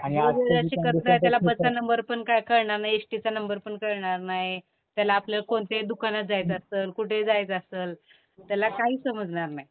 जो शिकत नाही त्याला बसचा नंबर पण कळणार नाही, एसटीचा नंबरपण कळणार नाही. त्याला आपलं कोणत्याही दुकानात जायचं असल, कुठंही जायचं असल, त्याला काही समजणार नाही.